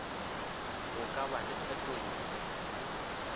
go ka ba le phetogo